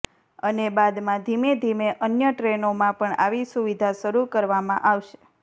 અને બાદમાં ધીમેધીમે અન્ય ટ્રેનોમાં પણ આવી સુવિધા શરૂ કરવામા આવશે